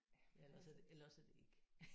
Ja eller også eller også er det ikke